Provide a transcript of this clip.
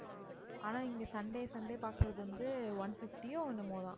ஆனா இங்க sunday, sunday பார்க்கிறது வந்து one fifty ஓ என்னமோ தான்.